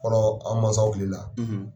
O kɔrɔ, an mansaw kile la,